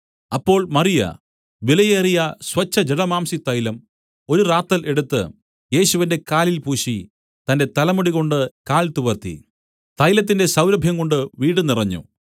അപ്പോൾ മറിയ വിലയേറിയ സ്വച്ഛജടാമാംസിതൈലം ഒരു റാത്തൽ എടുത്തു യേശുവിന്റെ കാലിൽ പൂശി തന്റെ തലമുടികൊണ്ട് കാൽ തുവർത്തി തൈലത്തിന്റെ സൌരഭ്യംകൊണ്ട് വീട് നിറഞ്ഞു